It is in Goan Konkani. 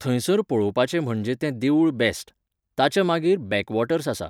थंयसर पळोवपाचें म्हणजे तें देवूळ बॅस्ट. ताच्या मागीर बॅकवॉटर्स आसा.